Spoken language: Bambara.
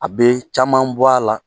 A bee caman bɔ a la.